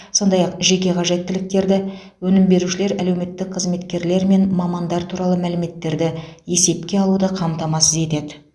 сондай ақ жеке қажеттіліктерді өнім берушілер әлеуметтік қызметкерлер мен мамандар туралы мәліметтерді есепке алуды қамтамасыз етеді